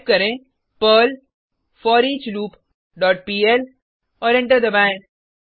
type करें Perl foreachloop dot PL और enter दबाएँ